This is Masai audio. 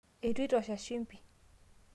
eitu itosha shimbi